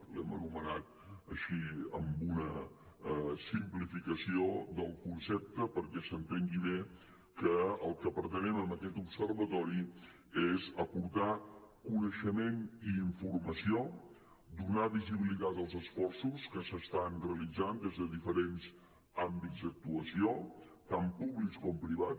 l’hem anomenat així amb una simplificació del concepte perquè s’entengui bé que el que pretenem amb aquest observatori és aportar coneixement i informació donar visibilitat als esforços que s’estan realitzant des de diferents àmbits d’actuació tan públics com privats